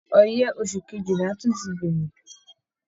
Ọyẹ́ oṣù kejìlà tún ti bẹ̀rẹ̀